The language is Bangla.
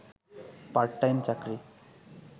পার্ট টাইম চাকরি